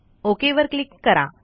OKवर क्लिक करा